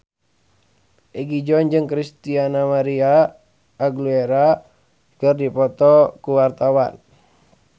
Egi John jeung Christina María Aguilera keur dipoto ku wartawan